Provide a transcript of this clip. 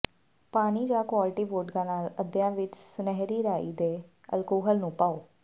ਪਾਣੀ ਜਾਂ quality vodka ਨਾਲ ਅੱਧਿਆਂ ਵਿੱਚ ਸੁਨਹਿਰੀ ਰਾਈ ਦੇ ਅਲਕੋਹਲ ਨੂੰ ਪਾਓ